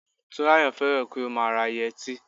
Túnráyọ̀ fẹ́ràn kí ó má a ra yẹtí